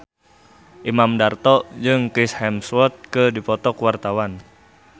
Imam Darto jeung Chris Hemsworth keur dipoto ku wartawan